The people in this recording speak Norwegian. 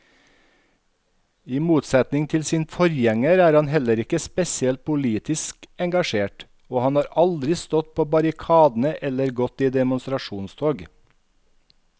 I motsetning til sin forgjenger er han heller ikke spesielt politisk engasjert og han har aldri stått på barrikadene eller gått i demonstrasjonstog.